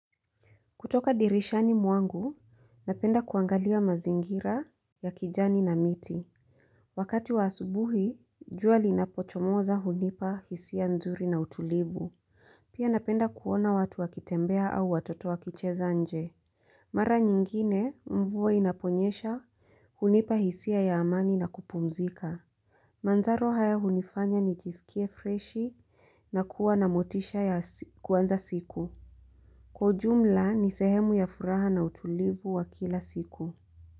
Kutoka dirishani mwangu, napenda kuangalia mazingira ya kijani na miti. Wakati wa asubuhi, jua linapochomoza hunipa hisia nzuri na utulivu. Pia napenda kuona watu wakitembea au watoto wakicheza nje. Mara nyingine, mvua inaponyesha hunipa hisia ya amani na kupumzika. Manjaro haya hunifanya nijisikie freshi na kuwa na motisha ya kuanza siku. Kwa ujumla ni sehemu ya furaha na utulivu wa kila siku.